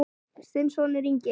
Þinn sonur, Ingi.